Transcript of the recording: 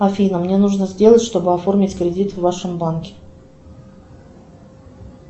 афина мне нужно сделать чтобы оформить кредит в вашем банке